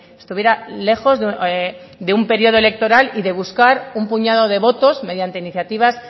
estuviera lejos de un periodo electoral y de buscar un puñado de votos mediante iniciativas